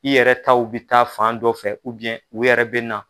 I yɛrɛ taw bɛ taa fan dɔ fɛ u yɛrɛ bɛ na.